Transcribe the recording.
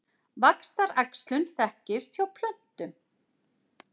Vaxtaræxlun þekkist hjá plöntum.